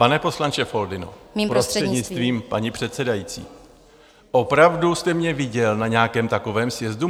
Pane poslanče Foldyno, prostřednictvím paní předsedající, opravdu jste mě viděl na nějakém takovém sjezdu?